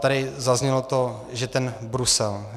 Tady zaznělo to, že ten Brusel.